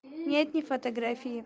нет не фотографии